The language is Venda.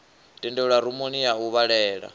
tendelwa rumuni ya u vhalela